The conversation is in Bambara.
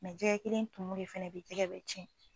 jɛgɛ kelen tumu de fɛnɛ bi jɛgɛ bɛɛ cɛn